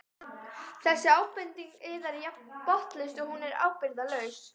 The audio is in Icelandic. Þessi ábending yðar er jafn botnlaus og hún er ábyrgðarlaus.